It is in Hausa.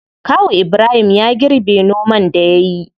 Kawu ibrahim ya girbe noman da yayi.